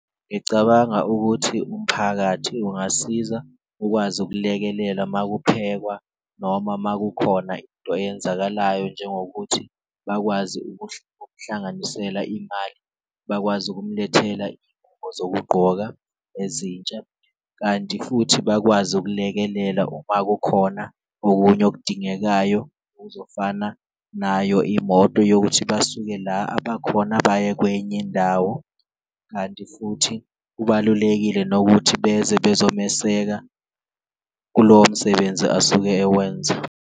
Ngicabanga ukuthi umphakathi ungasiza ukwazi ukulekelela uma kuphekwa noma uma kukhona into eyenzakalayo njengokuthi bakwazi ukuhlanganisela imali, bakwazi ukumlethela ingubo zokugqoka ezintsha. Kanti futhi bakwazi ukulekelela uma kukhona okunye okudingekayo okuzofana nayo imoto yokuthi basuke la abakhona, baye kwenye indawo kanti futhi kubalulekile nokuthi beze bezomeseka kulowo msebenzi asuke ewenza.